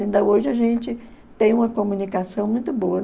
Ainda hoje a gente tem uma comunicação muito boa.